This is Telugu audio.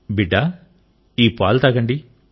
బిడ్డా ఈ పాలు తాగండి